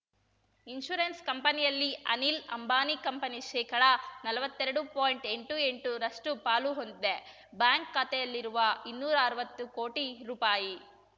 insurance ಕಂಪನಿಯಲ್ಲಿ Anil Ambani company ಶೇಕಡನಲ್ವತ್ತೆರಡು ಪಾಯಿಂಟ್ಎಂಬತ್ತೆಂಟರಷ್ಟುಪಾಲು ಹೊಂದಿದೆ ಬ್ಯಾಂಕ್‌ ಖಾತೆಯಲ್ಲಿರುವ ಇನ್ನೂರಾ ಅರ್ವತ್ತು ಕೋಟಿ ರೂಪಾಯಿ